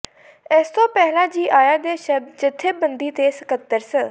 ਇਸ ਤੋਂ ਪਹਿਲਾਂ ਜੀ ਆਇਆ ਦੇ ਸ਼ਬਦ ਜਥੇਬੰਦੀ ਦੇ ਸਕੱਤਰ ਸ